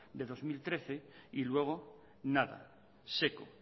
de dos mil trece y luego nada seco